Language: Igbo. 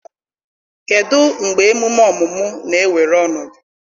kedụ mgbe emume ọmụmụ na-ewere ọnọdụ